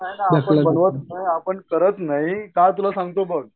भागवत नाही आपण करत नाही का तिला सांगतो बाग